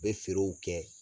bɛ feerew kɛ